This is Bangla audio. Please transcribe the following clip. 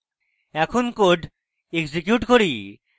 এখন code execute করি